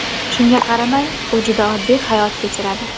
Shunga qaramay, u juda oddiy hayot kechiradi.